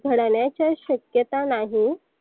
घडण्याच्या शक्यता नाही.